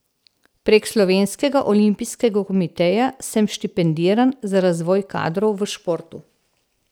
Prek slovenskega olimpijskega komiteja sem štipendiran za razvoj kadrov v športu.